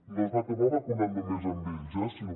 no es va acabar vacunat només a ells sinó